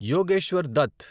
Yogeshwar Dutt